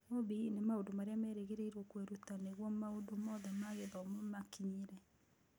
OBE nĩ mĩri ya maũndũ marĩa merĩgĩrĩirũo kwĩruta nĩguo maũndũ mothe ma gĩthomo makinyĩre.